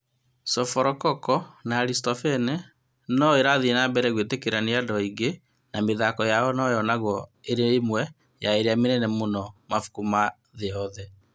Sophocles na Aristophanes no ĩrathiĩ na mbere gwĩtĩkĩrĩka nĩ andũ aingĩ, na mĩthako yao no yonagwo ĩrĩ ĩmwe ya ĩrĩa mĩnene mũno ya mabuku ma thĩ yothe.